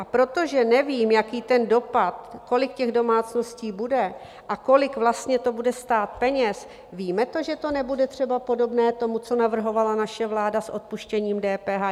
A protože nevím, jaký ten dopad, kolik těch domácností bude a kolik vlastně to bude stát peněz - víme to, že to nebude třeba podobné tomu, co navrhovala naše vláda s odpuštěním DPH?